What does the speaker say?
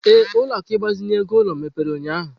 Ee, ụlọ akụ ịgbazinye ego ulo mepere ụnyahụ.